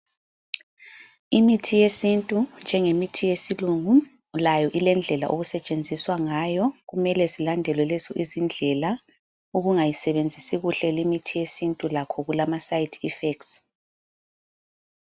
Imithi yesintu njengemithi yesilungu. Layo ilendlela ekusetshenziswa ngayo. Kumele zilandelwe lezi izindlela. Ukungayisebenzisi kuhle leyi mithi yesintu lakho kulama side effects.